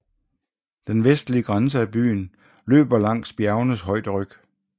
Den vestlige grænse af byen løber langs bjergenes højderyg